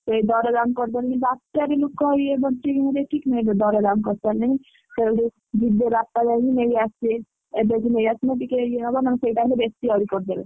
ସେଇ ଦର ଦାମ ବାତ୍ୟା ରେ ବି ଦର ଦାମ କରିସାରିଲେଣି ସେଇଠୁ ଯିବେ ବାପା ଯାଇକି ନେଇଆସିବେ ଏବେଠୁ ନେଇଆସିଲେ ଟିକେ ଇଏ ହବ ନହଲେ ସେଇ ଟାଇମ ରେ ବେଶୀ ଆହୁରି ଇଏ କରିଦେବେ।